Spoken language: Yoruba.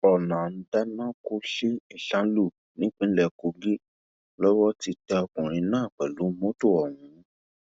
ọnà ndánákú sí ìsànlù nípínlẹ kogi lowó ti tẹ ọkùnrin náà pẹlú mọtò ọhún